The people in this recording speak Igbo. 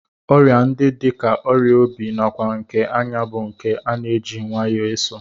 Ọrịa ndị dị ka ọrịa obi nakwa nke anya bụ nke a na-eji nwayọọ eso